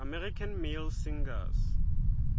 american male singers